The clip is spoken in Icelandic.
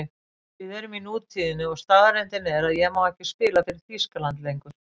Við erum í nútíðinni og staðreyndin er að ég má ekki spila fyrir Þýskaland lengur.